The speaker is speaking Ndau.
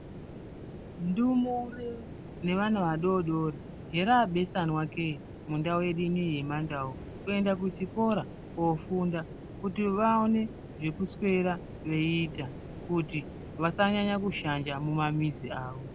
Ndumure nevana vadodori herabesanwa keye mundau yedu inoyi yemandau kuenda kuchikora kofunda kuti vaone zvekuswera veiita kuti vasanyanya kushanja mumamizi avo.